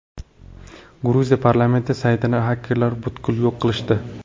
Gruziya parlamenti saytini xakerlar butkul yo‘q qilishdi.